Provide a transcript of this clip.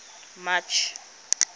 march